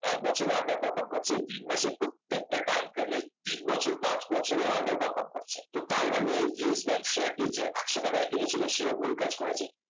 এক বছরেও under perform করছে তিন মাসে প্রত্যেকটা time frame এ তিন বছর পাঁচ বছরেও under perform করছে তো তার মানে Yes Bank শেয়ারটি যে একশ টাকায় কিনেছিল সেও ভুল কাজ করেছে